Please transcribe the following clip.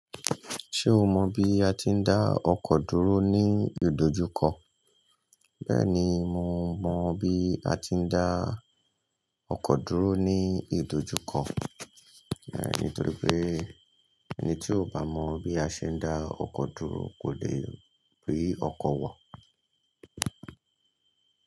Ṣé o mọ bí a ti ń dá ọkọ̀ dúró ní ìdojúkọ? Bẹ́ẹ̀ni, mo mọ bí a ti ń dá ọkọ̀ dúró ní ìdojúkọ. Bẹ́ẹ̀ni, nítorí pé ẹni tí kò bá mọ bí a ṣe ń dá ọkọ̀ dúró kò lè rí ọkọ̀ wà.